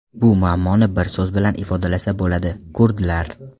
Bu muammoni bir so‘z bilan ifodalasa bo‘ladi – kurdlar .